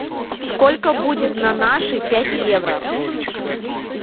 сколько будет на наши пять евро